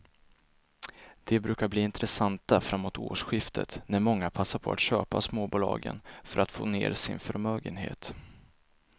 De brukar bli intressanta framåt årsskiftet när många passar på att köpa småbolagen för att få ner sin förmögenhet.